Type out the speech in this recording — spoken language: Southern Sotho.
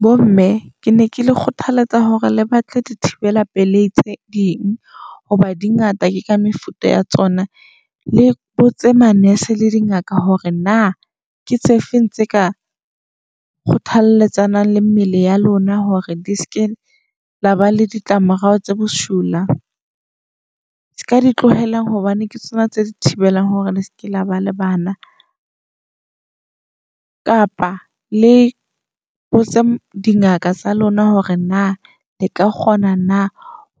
Bo mme ke ne ke le kgothaletsa hore le batle dithibela pelei tse ding. Hoba di ngata ke ka mefuta ya tsona. Le botse ma-nurse le di ngaka hore na ketse feng tse ka kgothalletsanang le mmele ya lona hore di ske la ba le ditlamorao tse bosula. Se ka di tlohela hobane ke tsona tse di thibelang hore le seke la ba le bana. Kapa le di ngaka tsa lona hore na leka kgona na